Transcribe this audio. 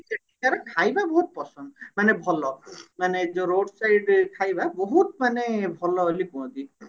ସେଠିକାର ଖାଇବା ବହୁତ ପସନ୍ଦ ମାନେ ଭଲ ମାନେ ଯୋଉ road side ଖାଇବା ବହୁତ ମାନେ ଭଲ ବୋଲି କୁହନ୍ତି